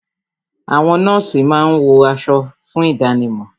Àwọn nọ́ọ̀sì máa ń wọ aṣọ fún ìdánimọ̀